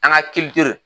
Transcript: An ka kiliyo